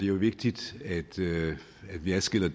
jo vigtigt at vi adskiller